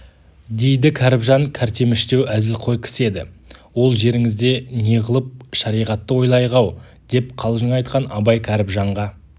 дейді кәріпжан кәртеміштеу әзілқой кісі еді ол жеріңізде неғылып шариғатты ойлайық-ау деп қалжың айтқан абай кәріпжанға